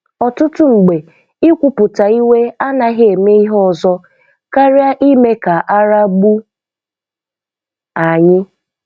Ọtụtụ mgbe ịkwuputa iwe anaghi-eme ihe ọzọ karịa ime ka ara agbu anyi.